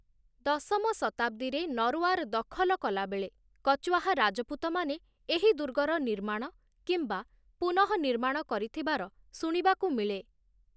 ଦଶମ ଶତାବ୍ଦୀରେ ନରୱାର ଦଖଲ କଲାବେଳେ କଚୱାହା ରାଜପୁତ ମାନେ ଏହି ଦୁର୍ଗର ନିର୍ମାଣ କିମ୍ବା ପୁନଃ ନିର୍ମାଣ କରିଥିବାର ଶୁଣିବାକୁ ମିଳେ ।